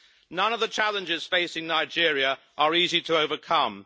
None of the challenges facing Nigeria are easy to overcome.